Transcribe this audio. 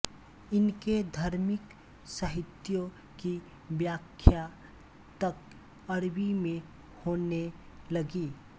इनके धार्मिक साहित्यों की व्याख्या तक अरबी में होने लगी